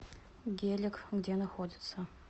геллек где находится